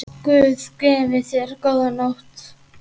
Guð gefi þér góða nótt.